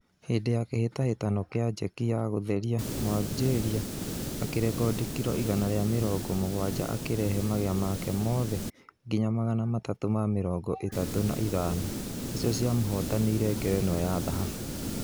Hĩndĩ ya kĩhĩtahĩtano gia jeki na gũtheria mũaljeria akĩŕekodi kiro igana rĩa mĩrongo mũgwaja akĩrehe magea make mothe nginya magana matatũ ma mĩrongo ĩtatũ na ithano, nĩcio cia mũhotanĩre ngerenwa ya thahabũ